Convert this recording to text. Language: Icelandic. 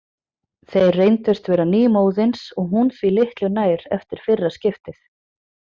Þeir reyndust vera nýmóðins og hún því litlu nær eftir fyrra skiptið.